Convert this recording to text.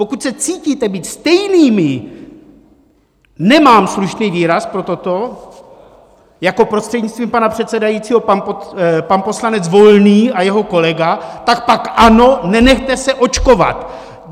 Pokud se cítíte být stejnými - nemám slušný výraz pro toto - jako prostřednictvím pana předsedajícího pan poslanec Volný a jeho kolega, tak pak ano, nenechte se očkovat!